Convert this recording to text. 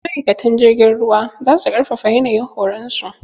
Ma'aikatan jirgin ruwa zasu ƙarfafa yanayin horon su.